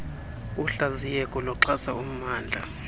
uhlaziyeko ixhasa ummndla